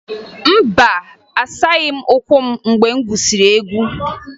Mba, asaghị m ụkwụ m mgbe m gwusiri egwu